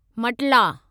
मटला